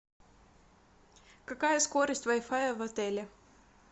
какая скорость вай фая в отеле